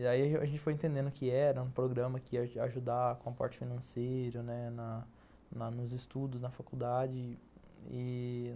Aí a gente foi entendendo que era um programa que ia ajudar com a parte financeira, né, nos estudos na faculdade. E